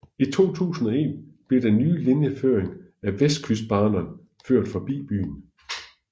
I 2001 blev den ny linjeføring af Västkustbanan ført forbi byen